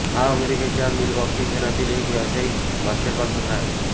हा अमेरिकेच्या मिलवॉकी शहरामधील एक व्यावसायिक बास्केटबॉल संघ आहे